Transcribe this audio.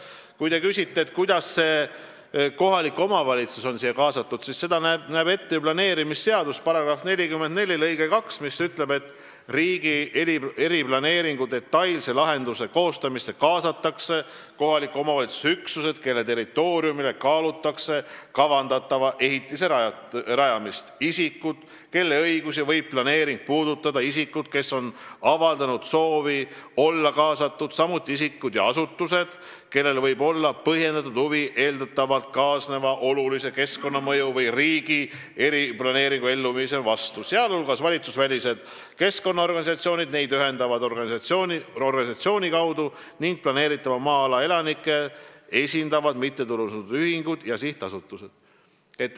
Kui te küsite, kuidas on kohalik omavalitsus siia kaasatud, siis seda näeb ette planeerimisseaduse § 44 lõige 2, mis ütleb nii: "Riigi eriplaneeringu detailse lahenduse koostamisse kaasatakse kohaliku omavalitsuse üksused, kelle territooriumile kaalutakse kavandatava ehitise rajamist, isikud, kelle õigusi võib planeering puudutada, isikud, kes on avaldanud soovi olla selle koostamisse kaasatud, ja asutused, kellel võib olla põhjendatud huvi eeldatavalt kaasneva olulise keskkonnamõju või riigi eriplaneeringu elluviimise vastu, sealhulgas valitsusvälised keskkonnaorganisatsioonid neid ühendava organisatsiooni kaudu ning planeeritava maa-ala elanikke esindavad mittetulundusühingud ja sihtasutused.